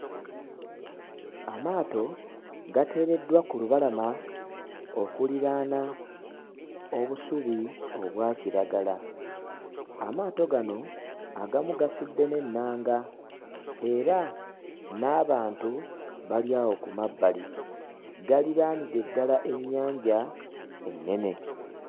Amaato gateereddwa ku lubalama okuliraana obusubi obwakiragala. Amaato gano agamu gasudde n'ennanga era n'abantu bali awo ku mabbali galiraanidde ddala ennyanja ennene.